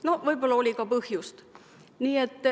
Noh, võib-olla oli ka põhjust.